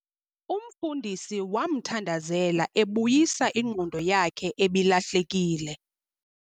Umfundisi wamthandazela ebuyisa ingqondo yakhe ebilahlekile.